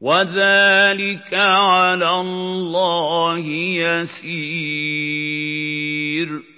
وَذَٰلِكَ عَلَى اللَّهِ يَسِيرٌ